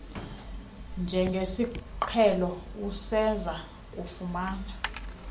njengesiqhelo useza kufuna